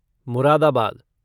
Moradabad